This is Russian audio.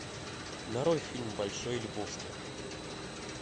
нарой фильм большой лебовски